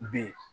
B